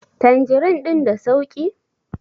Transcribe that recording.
tanjirin din da sauki?